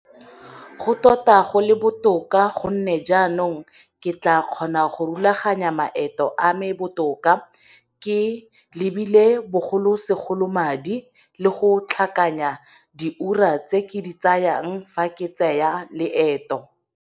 Go tota go le botoka gonne jaanong ke tla kgona go rulaganya maeto a me botoka, ke lebile bogolosegolo madi, le go tlhakanya diura tse ke di tsayang fa ke tsaya maeto.